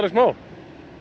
smá